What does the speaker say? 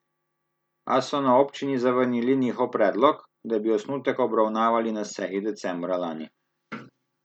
A so na občini zavrnili njihov predlog, da bi osnutek obravnavali na seji decembra lani.